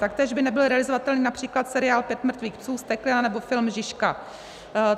Taktéž by nebyl realizovatelný například seriál Pět mrtvých psů, Vzteklina nebo film Žižka.